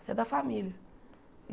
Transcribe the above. Você é da família.